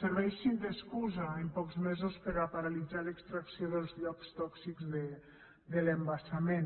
serveixi d’excusa en pocs mesos per a paralitzar l’extracció dels llocs tòxics de l’embassament